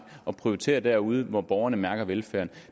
at prioritere derude hvor borgerne mærker velfærden